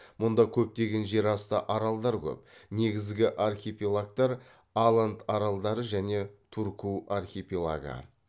мұнда көптеген жартасты аралдар көп негізгі архипелагтар аланд аралдары және турку архипелагы